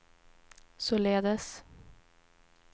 således